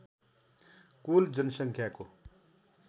कुल जनसङ्ख्याको